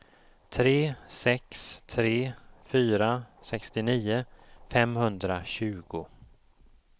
tre sex tre fyra sextionio femhundratjugo